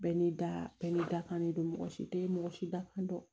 Bɛɛ ni da bɛɛ ni dakan de don mɔgɔ si tɛ mɔgɔ si da fɛn dɔn